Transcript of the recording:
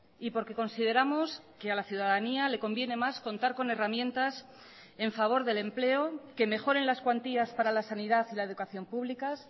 y porque consideramos que a la ciudadanía le conviene más contar con herramientas en favor del empleo que mejoren las cuantías para la sanidad y la educación públicas